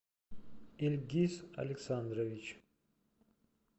ильгиз александрович